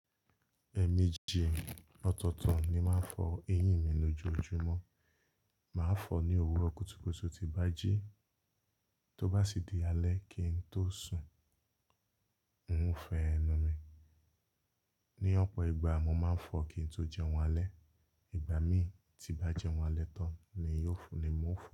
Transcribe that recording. Eẹ̀meeji òtọ̀ọ̀tọ̀ ni máa ń fọ eyín mi lójoojúmọ́, máa ń fọ ní òwúrọ̀ kùtùkùtù tí n bá jí, tó bá sì di alẹ́ kí n tó sùn. Won ò fo ẹnu mi, ní ọ̀pọ̀ ìgbà mo máa ń fọ kí n tó jẹun alẹ́, ìgbà mí tí n bá jẹun alẹ́ tán ni ò fo ni mo ń fọ.